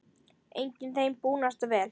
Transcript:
Einnig þeim búnast vel.